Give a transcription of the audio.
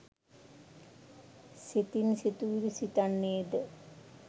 සිතින් සිතිවිලි සිතන්නේද